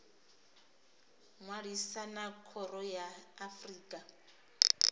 ṅwalisa na khoro ya afrika